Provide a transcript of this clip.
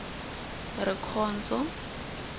rikhondzo